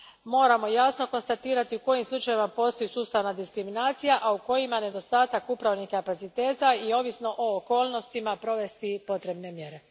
Moramo jasno konstatirati u kojim slučajevima postoji sustavna diskriminacija, a u kojima nedostatak upravnih kapaciteta i, ovisno o okolnostima, provesti potrebne mjere.